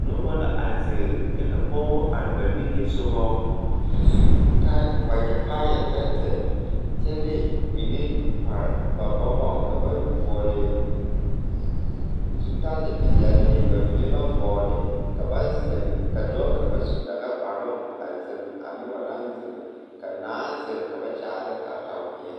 Noba la a ziŋ kyɛ ka pɔgebo are ba nigesɔgɔ a su wagyɛ kaaya tɛɛtɛɛ kyɛ de mine pare ba bɔgɔŋ ka ba vɔgle zutale peɛle ba mine ba vɔgle ka ba ziŋ ka dɔɔ kaŋ su dagakparoŋ a ziŋ a noba naŋ ziŋ ka naa ziŋ ka ba kyaare ne kataweɛ.